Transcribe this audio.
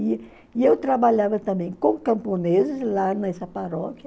E e eu trabalhava também com camponeses lá nessa paróquia.